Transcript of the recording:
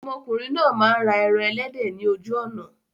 Ọmọkùnrin náà máa ń ra ẹran ẹlẹ́dẹ̀ ni ojú ọ̀nà.